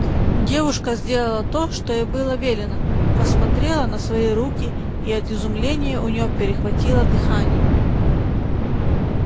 девушка сделала то что ей было велено посмотрела на свои руки и от изумления у неё перехватило дыхание